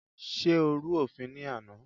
Ṣé o rú òfin ní àná?